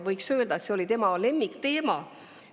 Võiks öelda, et see oli tema lemmikteema.